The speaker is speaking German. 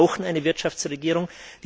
Wir brauchen eine Wirtschaftsregierung.